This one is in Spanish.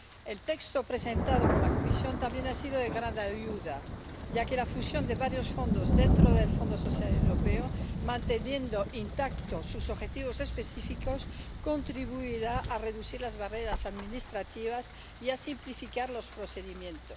El texto presentado por la Comisión también ha sido de gran ayuda, ya que la fusión de varios fondos dentro del Fondo Social Europeo, manteniendo intactos sus objetivos específicos, contribuirá a reducir las barreras administrativas y a simplificar los procedimientos.